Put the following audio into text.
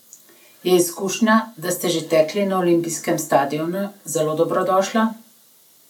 Je izkušnja, da ste že tekli na olimpijskem stadionu, zelo dobrodošla?